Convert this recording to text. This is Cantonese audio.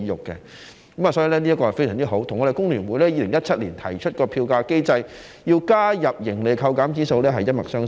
因此，這一點非常好，跟工聯會在2017年提出在票價機制中加入盈利扣減指數一脈相承。